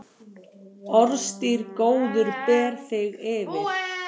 Orðstír góður ber þig yfir.